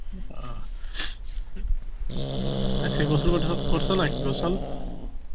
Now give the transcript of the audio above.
আহ, আজকে গোসল করছো~ করছো নাকি গোসল?